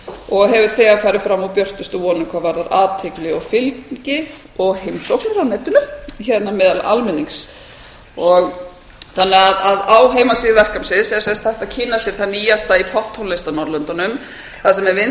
og hefur þegar farið fram úr björtustu vonum hvað varðar athygli og fylgi og heimsóknir á netinu hérna meðal almennings þannig að á heimasíðu verkefnisins er hægt kynna sér það nýjasta í popptónlist á norðurlöndunum þar sem